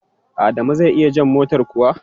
Adamu zai iya jan motar kuwa?